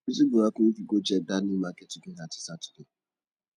wetin go happun if we go check dat new market together dis saturday